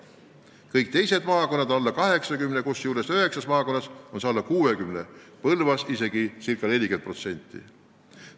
Kõigi teiste maakondade näitaja on alla 80%, kusjuures üheksas maakonnas on see alla 60%, Põlvas isegi ca 40%.